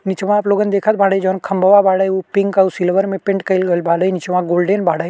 निचवा आप लोगन देखत बाड़े जोन खंबवा बाड़े उ पिंक और सिल्वर में पेंट कई गइल बाले। निचवा गोल्डेन बाड़े।